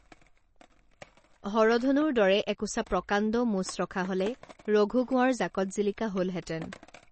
হৰধনুৰ দৰে একোছা প্ৰকাণ্ড মোচ ৰখা হলে ৰঘু কোঁৱৰ জাকত জিলিকা হলহেঁতেনে